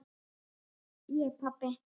Ég pabbi!